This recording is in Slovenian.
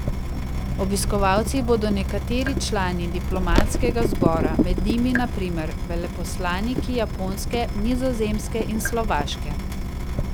Obiskovalci bodo nekateri člani diplomatskega zbora, med njimi na primer veleposlaniki Japonske, Nizozemske in Slovaške.